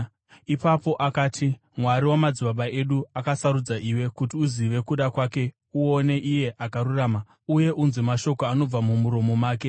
“Ipapo akati, ‘Mwari wamadzibaba edu akusarudza iwe kuti uzive kuda kwake uone Iye Akarurama uye unzwe mashoko anobva mumuromo make.